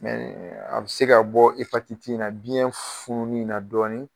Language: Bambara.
a bi se ka bɔ in na biyɛn fununi na dɔɔnin.